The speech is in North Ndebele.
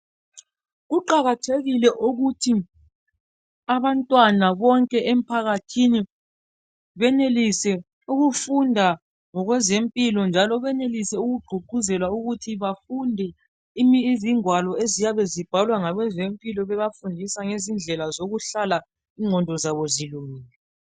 Kuqakathekile ukuthi abantwana bonke emphakathini benelise ukufunda ngokwezempilo njalo benelise lokugqugquzelwa ukuthi bafunde izingwalo eziyabe zibhalwa ngabezempilo zibafundisa ngezindlela zokuhlala ingqondo zabo zilungile.